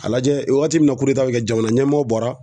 A lajɛ waati min na bi kɛ jamana ɲɛmɔgɔ bɔra